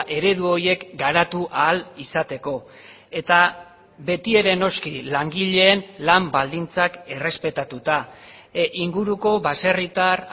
eredu horiek garatu ahal izateko eta beti ere noski langileen lan baldintzak errespetatuta inguruko baserritar